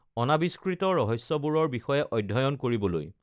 অনা‌ৱিষ্কৃত ৰহস্যবোৰৰ বিষয়ে অধ্যয়ন কৰিবলৈ